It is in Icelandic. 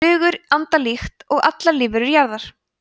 flugur anda líkt og allar lífverur jarðar